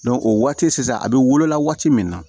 o waati sisan a bɛ wolola waati min na